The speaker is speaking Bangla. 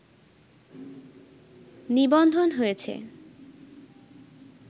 নিবন্ধন হয়েছে